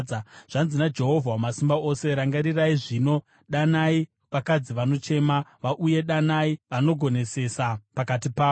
Zvanzi naJehovha Wamasimba Ose: “Rangarirai zvino! Danai vakadzi vanochema vauye; danai vanogonesesa pakati pavo.